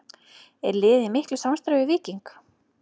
Er liðið í miklu samstarfi við Víking?